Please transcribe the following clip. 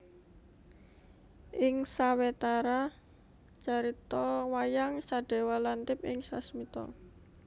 Ing sawetara carita wayang Sadéwa lantip ing sasmita